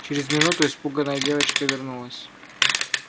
через минуту испуганная девочка вернулась